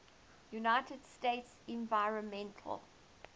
united states environmental